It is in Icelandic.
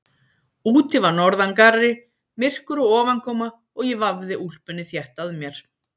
Úti var norðangarri, myrkur og ofankoma og ég vafði úlpunni þétt að mér.